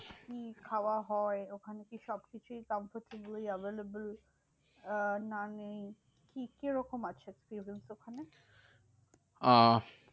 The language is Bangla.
কি খাওয়া হয়? ওখানে কি সবকিছুই completely available? আহ না নেই কি কি রকম আছে tables ওখানে? আহ